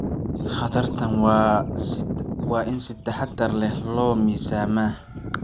Khatartaan waa in si taxadar leh loo miisaamaa.